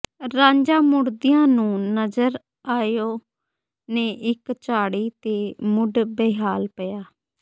ਰਾਂਝਾ ਮੁੜਦੀਆਂ ਨੂੰ ਨਜ਼ਰ ਆਇਓ ਨੇ ਇਕ ਝਾੜੀ ਦੇ ਮੁੱਢ ਬੇਹਾਲ ਪਿਆ